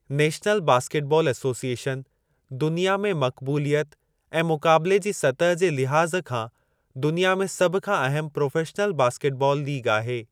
National basketball association दुनिया में मक़बूलियत ऐं मुक़ाबिले जी सतह जे लिहाज़ खां दुनिया में सभ खां अहमु प्रोफ़ेशनल बास्केट बालु लीग आहे।